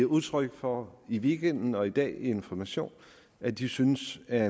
udtryk for i weekenden og i dag i information at de synes er